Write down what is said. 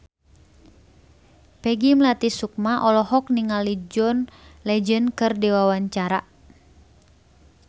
Peggy Melati Sukma olohok ningali John Legend keur diwawancara